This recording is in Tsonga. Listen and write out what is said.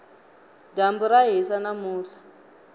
dyambu ra hisa namuntlha